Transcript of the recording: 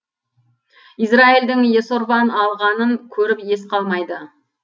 израильдің есорван алғанын көріп ес қалмайды